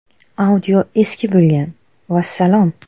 Audio eski bo‘lgan – vassalom.